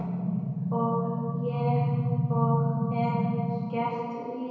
Og er gert víða.